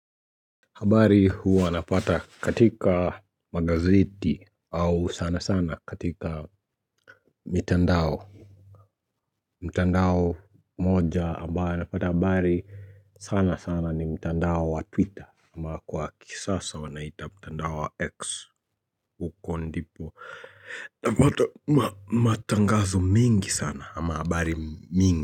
Habari huwa napata katika magazeti au sana sana katika mitandao mtandao moja ambaye napata habari sana sana ni mtandao wa twitter ama kwa kisasa wanaita mtandao wa X ukondipo Napata matangazo mingi sana ama habari mingi.